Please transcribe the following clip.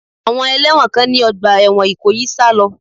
Àwọn ẹlẹ́wọ̀n kan ní ọgbà ẹ̀wọ̀n Ìkòyí sá lọ.